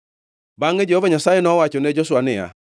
Bangʼe Jehova Nyasaye nowachone Joshua niya,